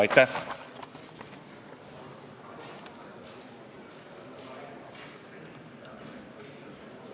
Aitäh!